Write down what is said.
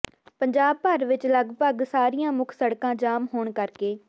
ਪੰਜਾਬ ਭਰ ਵਿੱਚ ਲਗਪਗ ਸਾਰੀਆਂ ਮੁੱਖ ਸੜਕਾਂ ਜਾਮ ਹੋਣ ਕਰਕੇ